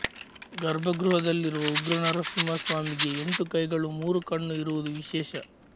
ಗರ್ಭಗೃಹದಲ್ಲಿರುವ ಉಗ್ರನರಸಿಂಹಸ್ವಾಮಿಗೆ ಎಂಟು ಕೈಗಳು ಮೂರು ಕಣ್ಣು ಇರುವುದು ವಿಶೇಷ